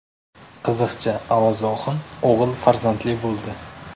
Qiziqchi Avaz Oxun o‘g‘il farzandli bo‘ldi.